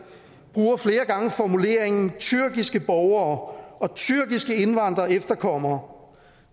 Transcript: bruger flere gange formuleringen tyrkiske borgere og tyrkiske indvandrere og efterkommere